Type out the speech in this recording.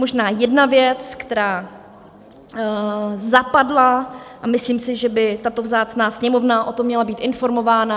Možná jedna věc, která zapadla, a myslím si, že by tato vzácná Sněmovna o tom měla být informována.